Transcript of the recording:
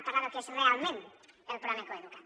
parlem del que és realment el programa coeduca’t